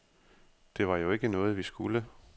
Det var jo ikke noget, vi skulle.